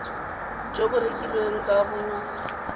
jo bo rekilweng ka bo